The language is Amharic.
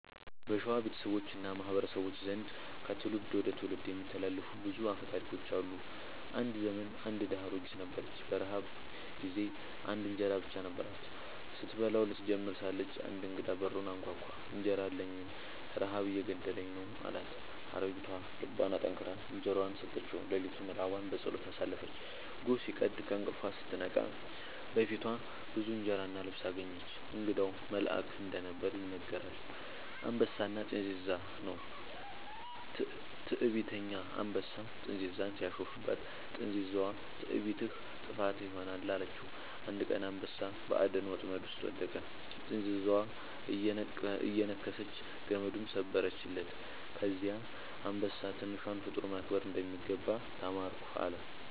በሸዋ ቤተሰቦች እና ማህበረሰቦች ዘንድ ከትውልድ ወደ ትውልድ የሚተላለፉ ብዙ አፈ ታሪኮች አሉ። አንድ ዘመን አንድ ድሃ አሮጊት ነበረች። በረሃብ ጊዜ አንድ እንጀራ ብቻ ነበራት። ስትበላው ልትጀምር ሳለች አንድ እንግዳ በሩን አንኳኳ፤ «እንጀራ አለኝን? ረሃብ እየገደለኝ ነው» አላት። አሮጊቷ ልቧን አጠንክራ እንጀራዋን ሰጠችው። ሌሊቱን ራቧን በጸሎት አሳለፈች። ጎህ ሲቀድ ከእንቅልፏ ስትነቃ በፊቷ ብዙ እንጀራ እና ልብስ አገኘች። እንግዳው መልአክ እንደነበር ይነገራል። «አንበሳና ጥንዚዛ» ነው። ትዕቢተኛ አንበሳ ጥንዚዛን ሲያሾፍባት፣ ጥንዚዛዋ «ትዕቢትህ ጥፋትህ ይሆናል» አለችው። አንድ ቀን አንበሳ በአደን ወጥመድ ውስጥ ወደቀ፤ ጥንዚዛዋ እየነከሰች ገመዱን ሰበረችለት። ከዚያ አንበሳ «ትንሿን ፍጡር ማክበር እንደሚገባ ተማርኩ» አለ